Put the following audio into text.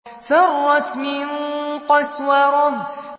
فَرَّتْ مِن قَسْوَرَةٍ